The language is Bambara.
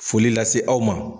Foli lase aw ma.